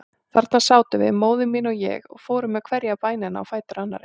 Þarna sátum við, móðir mín og ég, og fórum með hverja bænina á fætur annarri.